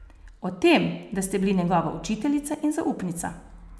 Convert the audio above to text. O tem, da ste bili njegova učiteljica in zaupnica.